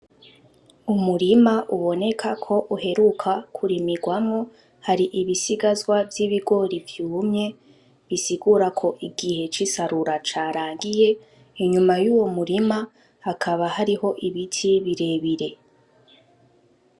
Umurima uboneka ko uheruka kurimirwamwo hari ibisigazwa vy'ibigori vyumye bisigura ko igihe c'isarura carangiye inyuma yuwo murima hakaba hariho ibiti birebire.